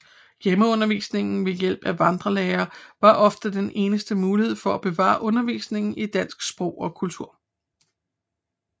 Hjemmeundervisning ved hjælp af vandrelærere var ofte den eneste mulighed for at bevare undervisning i dansk sprog og kultur